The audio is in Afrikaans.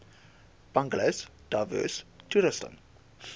bungalows diverse toerusting